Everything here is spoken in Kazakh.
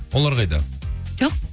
олар қайда жоқ